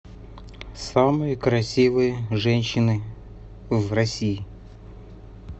самые красивые женщины в россии